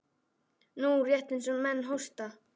Nú, rétt eins og menn hósta.